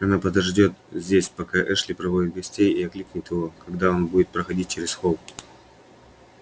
она подождёт здесь пока эшли проводит гостей и окликнет его когда он будет проходить через холл